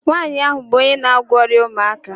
Nwaanyị ahụ bụ onye na-agwọ ọrịa ụmụaka